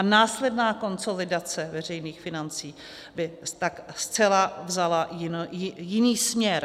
A následná konsolidace veřejných financí by tak zcela vzala jiný směr.